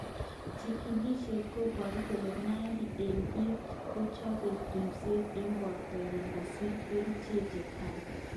Chikilishet koboru kole 90 eng bik kochope ripset eng borto yon kosich kerichek che tai.